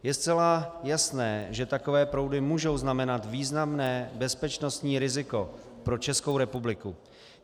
Je zcela jasné, že takové proudy můžou znamenat významné bezpečnostní riziko pro Českou republiku.